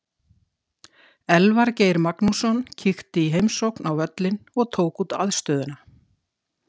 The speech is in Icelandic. Elvar Geir Magnússon kíkti í heimsókn á völlinn og tók út aðstöðuna.